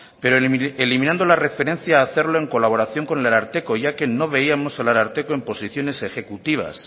pero eliminando la referencia a hacerlo en colaboración con el ararteko ya que no veíamos al ararteko en posiciones ejecutivas